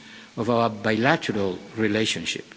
facets of our bilateral relationship.